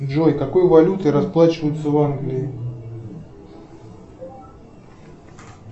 джой какой валютой расплачиваются в англии